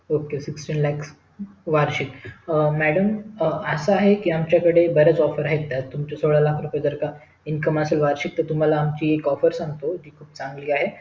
okaysixteen lakh वार्षिक madam असं आहे कि आमच्या कडे बऱ्याच offers तुमची सोळा लाख रुपय जर का income असेल वार्षिक तर तुम्हला आमची एक offer सांगतो चांगली आहे